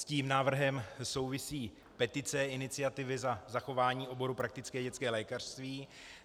S tím návrhem souvisí petice Iniciativy za zachování oboru praktické dětské lékařství.